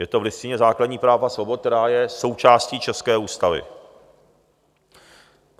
Je to v Listině základních práv a svobod, která je součástí české ústavy.